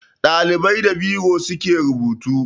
Ɗalibai da biro suke rubutu